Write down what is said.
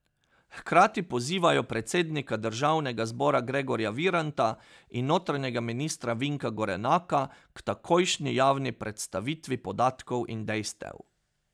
Hkrati pozivajo predsednika državnega zbora Gregorja Viranta in notranjega ministra Vinka Gorenaka k takojšnji javni predstavitvi podatkov in dejstev.